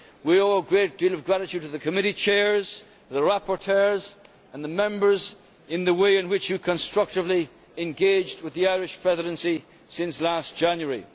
We owe a great deal of gratitude to the committee chairs, to the rapporteurs and the Members in the way in which you constructively engaged with the Irish Presidency since last January.